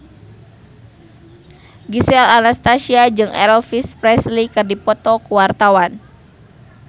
Gisel Anastasia jeung Elvis Presley keur dipoto ku wartawan